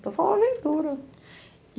Então, foi uma aventura.